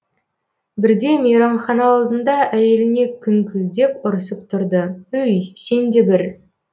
бірде мейрамхана алдында әйеліне күңкілдеп ұрысып тұрды өй сен де бір